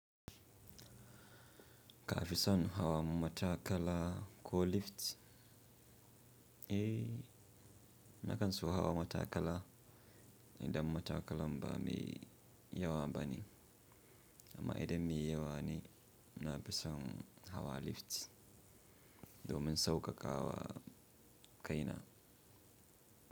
Ka fi son hawan matakala ko lift? Na kan so hawa matakala idan matakalan ba me yawa bane, amma idan me yawa ne, na fi son hawa lift domin saukakawa kaina.